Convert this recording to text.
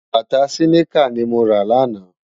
Bátá siniká ni mó ra láná